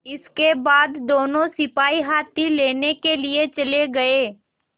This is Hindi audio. इसके बाद दोनों सिपाही हाथी लेने के लिए चले गए